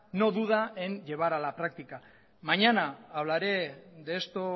no duda en llevar a la práctica mañana hablaré de esto